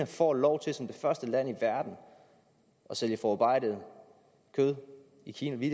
får lov til som det første land i verden at sælge forarbejdet kød i kina vi